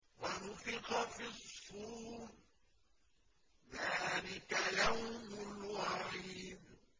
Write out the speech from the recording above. وَنُفِخَ فِي الصُّورِ ۚ ذَٰلِكَ يَوْمُ الْوَعِيدِ